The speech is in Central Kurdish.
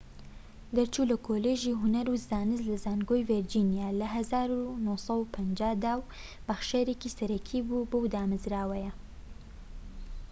دەرچوو لە کۆلیژی هونەر و زانست لە زانکۆی ڤیرجینیا لە ١٩٥٠ دا و بەخشەرێکی سەرەکی بووە بەو دامەزراوەیە